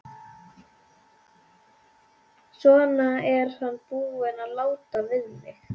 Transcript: Svona er hann búinn að láta við mig.